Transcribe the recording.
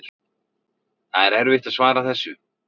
Það er erfitt að svara þessu.